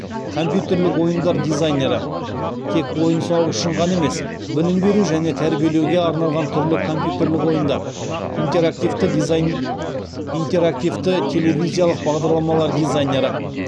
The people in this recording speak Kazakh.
компьютерлік ойындар дизайнері интерактивті телевизиялық бағдарламалар дизайнері